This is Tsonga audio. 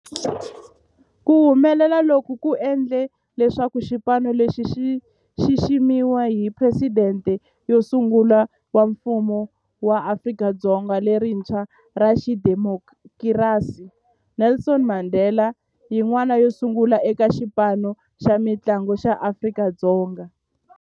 Ku humelela loku ku endle leswaku xipano lexi xi xiximiwa hi Presidente wo sungula wa Mfumo wa Afrika-Dzonga lerintshwa ra xidemokirasi, Nelson Mandela, yin'wana yo sungula eka xipano xa mintlangu xa Afrika-Dzonga.